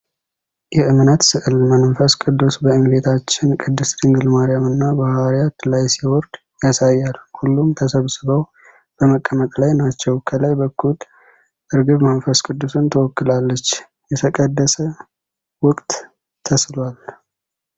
የእምነት ሥዕል መንፈስ ቅዱስ በእመቤታችን ቅድስት ድንግል ማርያም እና በሐዋርያት ላይ ሲወርድ ያሳያል። ሁሉም ተሰብስበው በመጠበቅ ላይ ናቸው። ከላይ በኩል ርግብ መንፈስ ቅዱስን ትወክላለች። የተቀደሰ ወቅት ተስሏል።